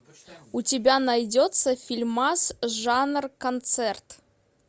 у тебя найдется фильмас жанр концерт